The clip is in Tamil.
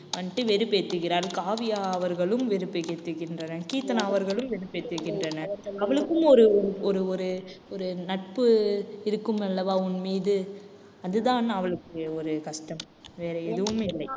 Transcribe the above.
வந்துட்டு வெறுப்பேத்துகிறாள் காவியா அவர்களும் வெறுப்பை ஏற்றுகின்றனர். கீர்த்தனா அவர்களும் வெறுப்பேத்துகின்றனர். அவளுக்கும் ஒரு ஒரு ஒரு ஒரு நட்பு இருக்கும் அல்லவா உன் மீது அதுதான் அவளுக்கு ஒரு கஷ்டம் வேற எதுவுமே இல்லை